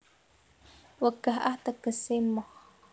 Wegah ah tegese moh